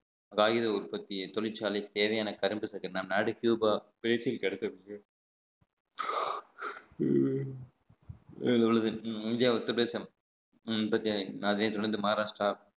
காகித உற்பத்தி தொழிற்சாலை தேவையான கரும்புதக்கு நம் நாடு கியூபா உள்ளது இந்தியா அதே தொடர்ந்து மகாராஷ்டிரா